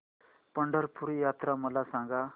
पंढरपूर यात्रा मला सांग